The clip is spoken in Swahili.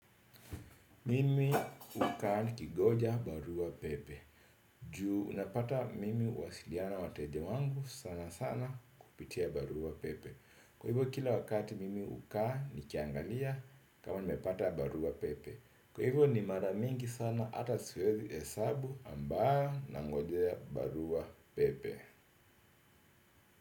Mimi hukaa nikingoja barua pepe. Juu unapata mimi huwasiliana na wateja wangu sana sana kupitia barua pepe. Kwa hivyo kila wakati mimi hukaa nikiangalia kama nimepata barua pepe. Kwa hivyo ni mara mingi sana ata siwezi hesabu ambayo nangojea barua pepe.